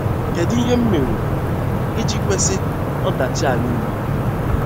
Kedụ ihe m mere iji kwesị ọdachi a niile?